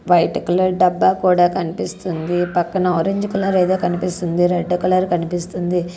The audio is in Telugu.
వైట్ కలర్ డబ్బా కూడా కనిపిస్తుంది. పక్కన ఆరంజ్ కలర్ ఏదో కనిపిస్తుంది రెడ్ కలర్ కనిపిస్తుంది.